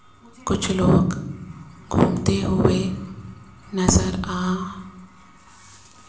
कुछ लोग घूमते हुए नजर आ --